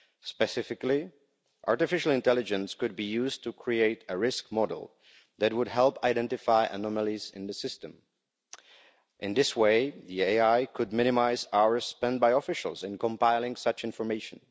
Specifically, artificial intelligence could be used to create a risk model that would help identify anomalies in the system. In this way, the AI could minimise hours spent by officials in compiling such information.